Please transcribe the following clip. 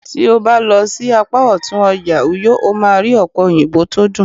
ti o ba lo sí apá òtún ọjà uyo, o ma ri òpe oyinbo to dun